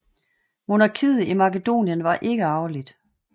Monarkiet i Makedonien var ikke arveligt